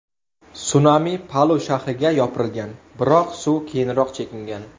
Sunami Palu shahriga yopirilgan, biroq suv keyinroq chekingan.